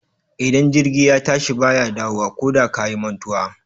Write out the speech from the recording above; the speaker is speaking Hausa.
Idan jirgi ya tashi ba ya dawowa koda ka yi mantuwa.